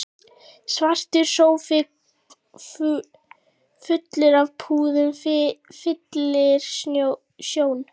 Svartur sófi fullur af púðum fyllir sjón